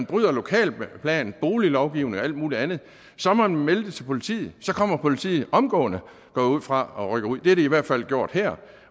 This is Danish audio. bryder lokalplan boliglovgivning og alt muligt andet så må man melde det til politiet så kommer politiet omgående går jeg ud fra og rykker ud det har de i hvert fald gjort her